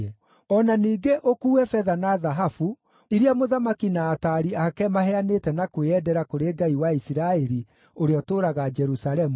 O na ningĩ ũkuue betha na thahabu, iria mũthamaki na ataari ake maheanĩte na kwĩyendera kũrĩ Ngai wa Isiraeli ũrĩa ũtũũraga Jerusalemu,